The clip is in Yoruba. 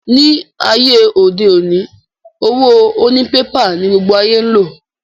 Ní ayé òde òni, owó oní pépà ní gbogbo ayé ń lò